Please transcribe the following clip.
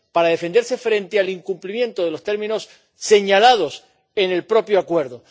Para defenderse frente al incumplimiento de los términos señalados en el propio acuerdo.